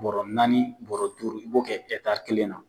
Bɔrɔ naani bɔrɔ duuru i b'o kɛ ɛtari kelen na